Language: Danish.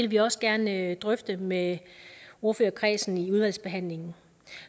vi også gerne drøfte med ordførerkredsen i udvalgsbehandlingen